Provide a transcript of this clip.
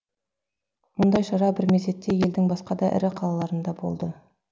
мұндай шара бір мезетте елдің басқа да ірі қалаларында да болды